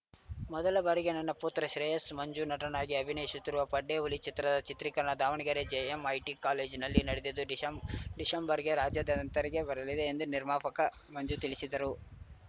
ಮೊದಲ ಬಾರಿಗೆ ನನ್ನ ಪುತ್ರ ಶ್ರೇಯಸ್‌ ಮಂಜು ನಟನಾಗಿ ಅಭಿನಯಿಶುತ್ತಿರುವ ಪಡ್ಡೆ ಹುಲಿ ಚಿತ್ರದ ಚಿತ್ರೀಕರಣ ದಾವಣಗೆರೆ ಜಿಎಂಐಟಿ ಕಾಲೇಜಿನಲ್ಲಿ ನಡೆದಿದ್ದು ಡಿಸೆಂಬ್ ಡಿಸೆಂಬರ್‌ಗೆ ರಾಜ್ಯಾದ್ಯಂತ ತೆರೆಗೆ ಬರಲಿದೆ ಎಂದು ನಿರ್ಮಾಪಕ ಮಂಜು ತಿಳಿಸಿದರು